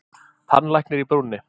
Tannlæknir í brúnni.